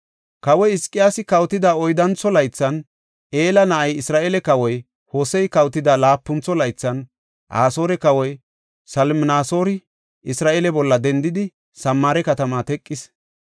Kawoy Hizqiyaasi kawotida oyddantho laythan, Ela na7ay Isra7eele kawoy, Hosey kawotida laapuntho laythan, Asoore kawoy Salminasoori Isra7eele bolla dendidi, Samaare katamaa teqis.